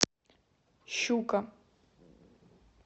щука